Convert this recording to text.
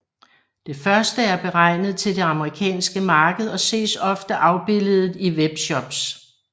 Det første er beregnet til det amerikanske marked og ses ofte afbilledet i webshops